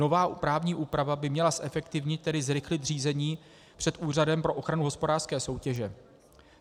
Nová právní úprava by měla zefektivnit, tedy zrychlit, řízení před Úřadem pro ochranu hospodářské soutěže.